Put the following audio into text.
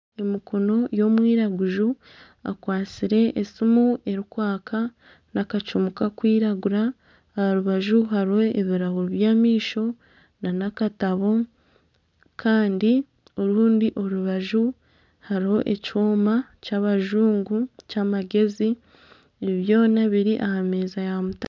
Emikono y'omwiraguju ekwasire esimu erikwaka na akacumu kakwiragura. Aha rubaju hariho ebirahuri by'amaisho nana akatabo kandi orundi orubaju hariho ekyoma ky'abajungu ky'amagezi. Ebi byoma biri aha meeza ya mutare.